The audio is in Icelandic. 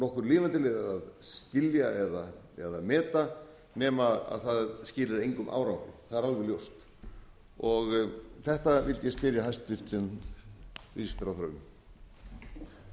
ekki nokkur lifandi leið að dylja eða meta nema það skili engum árangri það er alveg ljóst þetta vildi ég spyrja hæstvirtur viðskiptaráðherra um